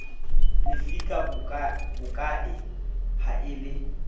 lefisa bokae ha e le